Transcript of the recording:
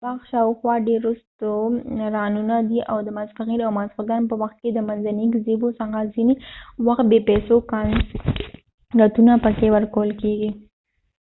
د باغ شاوخوا ډیر رستورانونه دي او د ماسپښین او ماسختن به وخت کې د منځنۍ ګزیبو څخه ځینی وخت بی پیسو کانسرتونه پکې ورکول کېږی